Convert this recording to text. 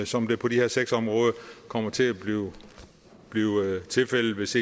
som det på de her seks områder kommer til at blive tilfældet hvis